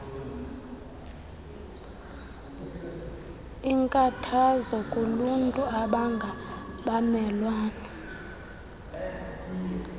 inkathazo kuluntu abangabamelwane